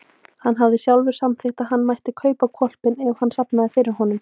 Hann hafði sjálfur samþykkt að hann mætti kaupa hvolpinn ef hann safnaði sér fyrir honum.